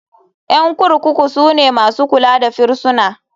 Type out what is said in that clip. Ƴan kurkuku sune masu kula da firisuna.